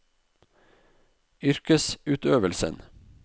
yrkesutøvelsen